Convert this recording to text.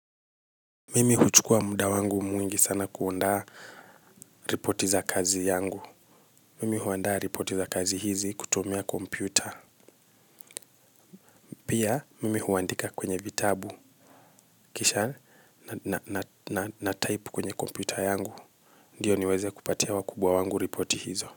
Mimi huchukua muda wangu mwingi kuandaa ripoti za kazi zangu. Mimi huandaa ripoti za kazi hizi kutumia kompyuta. Pia mimi huandika kwenye vitabu kisha natype kwenye kompyuta yangu. Ndiyo niweze kupatia wakubwa wangu ripoti hizo.